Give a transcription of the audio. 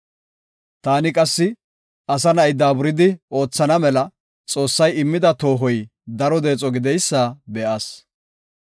Taani qassi, asa na7i daaburidi oothana mela, Xoossay immida toohoy daro deexo gideysa be7as.